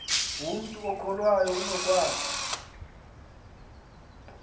umntu okholwayo unokwazi